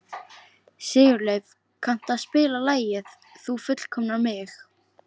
Sigurleif, kanntu að spila lagið „Þú fullkomnar mig“?